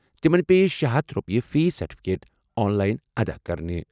تِمَن پیٚیہِ شے ہتھَ رۄپیہِ فی سرٹِفکیٹ آن لایِن ادا کرٕنہِ ۔